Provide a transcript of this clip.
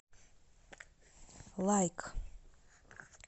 лайк